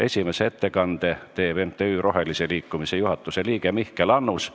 Esimese ettekande teeb MTÜ Eesti Roheline Liikumine juhatuse liige Mihkel Annus.